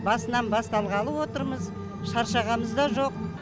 басынан басталғалы отырмыз шаршағанымыз да жоқ